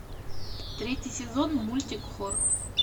третий сезон мультик хор